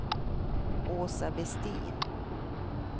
Åsa Vestin